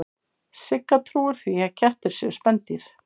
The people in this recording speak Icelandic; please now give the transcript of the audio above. Sigga trúir því að kettir séu spendýr.